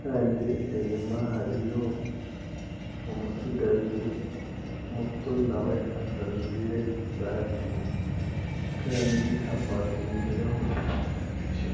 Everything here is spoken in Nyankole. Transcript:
kandi enyuma hariyo omutsigazi muto nawe atajwire saati kandi hapakingireho epiiki.